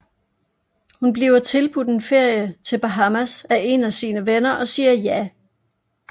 Hun bliver tilbudt en ferie til Bahamas af en af sine venner og siger ja